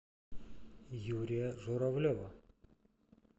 юрия журавлева